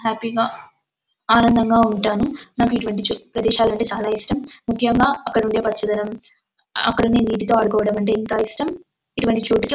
Happy గ ఆనందంగా ఉంటాను నాకు ఇటువంటి చోట్లు ప్రదేశాలు అంటే చాల ఇష్టం ముక్యంగా అక్కడుండే పచ్చదనం అక్కడుండే నీటితో ఆదుకోవడం అంటే ఎంతో ఇష్టం. ఇతి వంటి చోటుకీ--